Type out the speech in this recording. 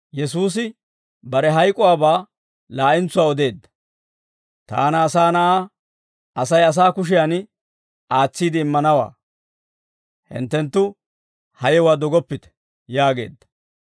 «Taana Asaa Na'aa, Asay asaa kushiyaan aatsiide immanawaa; hinttenttu ha yewuwaa dogoppite» yaageedda.